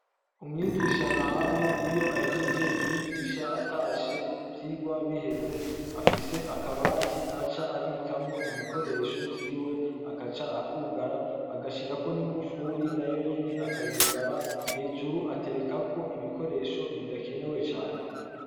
Umwigisha nahayo iyo ahejeje kwigisha atashe ivyigwa biheze afise akabati aca abikamwo ibikoresho vyiwe akaca akugara akaca ashirako n'ingufuri Nayo nyene akayugara hejuru aterekako ibikoresho bidakenewe cane.